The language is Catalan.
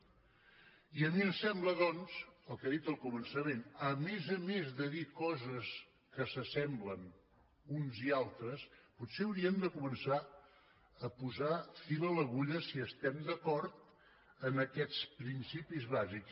i a mi em sembla doncs el que he dit al comença·ment a més a més de dir coses que s’assemblen uns i altres potser hauríem de començar a posar fil a l’agu·lla si estem d’acord amb aquests principis bàsics